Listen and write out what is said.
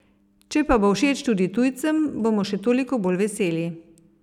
Če pa bo všeč tudi tujcem, bomo še toliko bolj veseli.